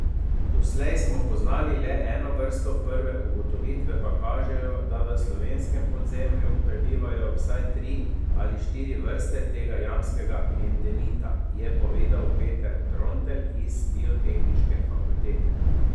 Doslej smo poznali le eno vrsto, prve ugotovitve pa kažejo, da v slovenskem podzemlju prebivajo vsaj tri ali štiri vrste tega jamskega endemita, je povedal Peter Trontelj z Biotehniške fakultete.